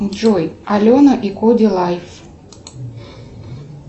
джой алена и коди лайф